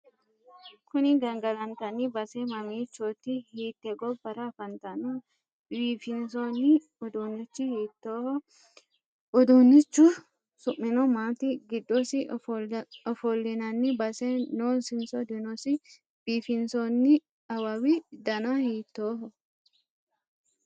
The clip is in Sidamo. Kuni gangalantanni base mamiichooti? Hiitte gobbara afantanno? Biifinsoonni uduunnichi hiittoohu ? Uduunnichu su'mino maati? Giddosi ofollinanni base noosinso dinosi? biifinsoonni awawi dana hiittooho?